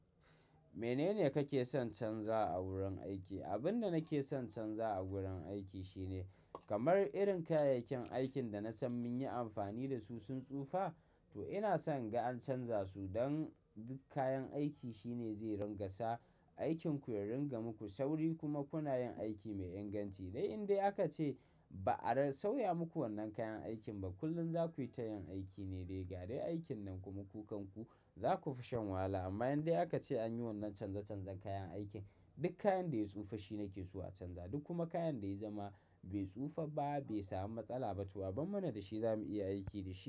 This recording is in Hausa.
Menene kake son canza a wurin aiki? Abin da nake son canza a wurin aiki shine kamar irin kayayyakin aikin da na san mun yi amfani da su sun tsufa, to ina son in ga canza su don duk kayan aiki shine zai rin ƙa sa aikin ku ya rinƙa muku sauri kuma kuna yin aiki mai inganci. Dai indai aka ce ba a sauya muku wannan kayan aikin ba, kullum za ku yi ta yin aiki ne dai ga dai aikin nan kuma ku kan ku za ku fi shan wahala. Amma in dai aka ce an yi wannan canza canzan kayan aikin, duk kayan da ya tsufa shi nake so a canza duk kuma kayan da ya zama bai tsufa ba, bai samu matsala ba, to abar mana da shi za mu iya aiki da shi.